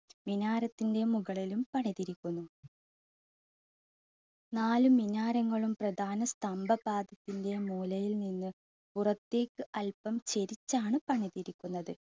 മിനാരത്തിൻ്റെ മുകളിലും പണിതിരിക്കുന്നു. നാല് മിനാരങ്ങളും പ്രദാന സ്തംഭഭാഗത്തിൻ്റെ മൂലയിൽ നിന്ന് പുറത്തേക്ക് അല്പം ചാരിച്ചാണ് പണിതിരിക്കുന്നത്.